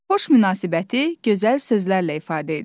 Xoş münasibəti gözəl sözlərlə ifadə edin.